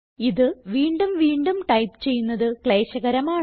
ഇത് വീണ്ടും വീണ്ടും ടൈപ്പ് ചെയ്യുന്നത് ക്ലേശകരമാണ്